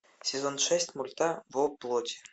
сезон шесть мульта во плоти